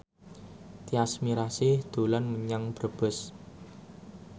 Tyas Mirasih dolan menyang Brebes